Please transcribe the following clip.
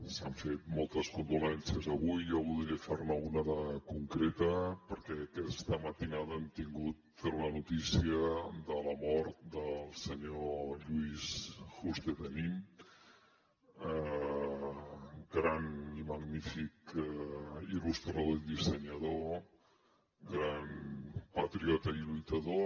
s’han fet moltes condolences avui jo voldria fer ne una de concreta perquè aquesta matinada hem tingut la notícia de la mort del senyor lluís juste de nin gran i magnífic il·lustrador i dissenyador gran patriota i lluitador